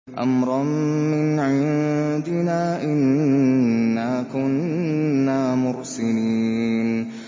أَمْرًا مِّنْ عِندِنَا ۚ إِنَّا كُنَّا مُرْسِلِينَ